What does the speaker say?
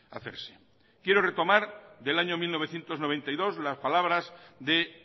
hacerse quiero retomar del año mil novecientos noventa y dos las palabras de